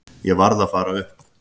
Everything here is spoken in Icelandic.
Ég varð að fara upp.